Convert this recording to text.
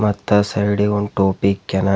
ಮತ್ತು ಆ ಸೈಡ್ ಗ್ ಒಂದ್ ಟೋಪಿ ಇಕ್ಯಾನ.